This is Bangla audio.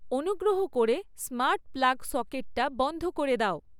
অনুগ্র্রহ করে স্মার্ট প্লাগ সকেটটা বন্ধ করে দাও